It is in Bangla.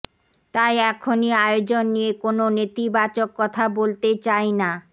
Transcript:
তাই এখনই আয়োজন নিয়ে কোন নেতিবাচক কথা বলতে চাইনা